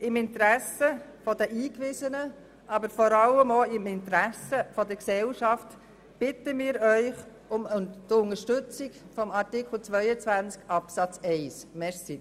Im Interesse der Eingewiesenen, aber vor allem auch im Interesse der Gesellschaft bitten wir Sie um Unterstützung dieses Antrags zu Artikel 22 Absatz 1.